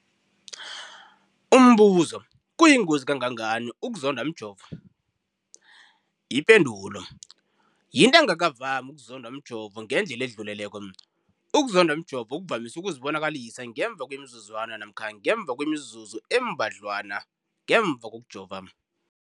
Umbuzo, kuyingozi kangangani ukuzondwa mjovo? Ipendulo, yinto engakavami ukuzondwa mjovo ngendlela edluleleko. Ukuzondwa mjovo kuvamise ukuzibonakalisa ngemva kwemizuzwana namkha ngemva kwemizuzu embadlwana ngemva kokujova.